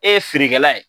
E ye feerekɛla ye